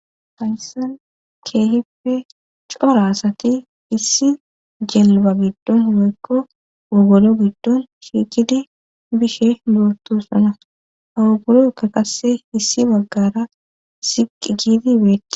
Hafaysan keehipfe cora asati issi jelba giddon humekko woogolo giddon shiikidi bishe lootossana hawugolo ka kase issi baggara siqi giidibeete